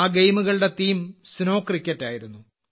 ആ ഗെയിമുകളുടെ theme snow cricket ആയിരുന്നു